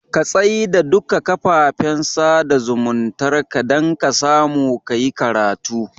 Ka tsai da duka kafafen sada zumuntar ka dan kasamu kayi karatu